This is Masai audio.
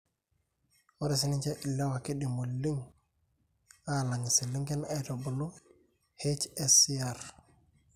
ore siininche ilewa keidim oleng aalang' iselengen aitubulu HSCR.